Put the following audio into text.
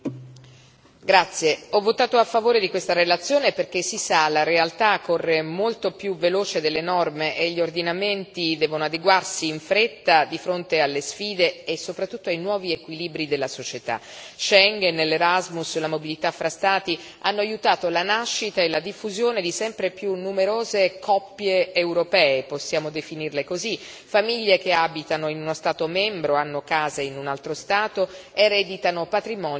Signor Presidente, onorevoli colleghi, ho votato a favore di questa relazione perché, si sa, la realtà corre molto più veloce delle norme e gli ordinamenti devono adeguarsi in fretta di fronte alle sfide e, soprattutto, ai nuovi equilibri della società. Schengen, l'Erasmus, la mobilità fra Stati hanno aiutato la nascita e la diffusione di sempre più numerose coppie europee possiamo definirle così famiglie che abitano in uno Stato membro, hanno case in un altro Stato, ereditano patrimoni in un altro Stato ancora.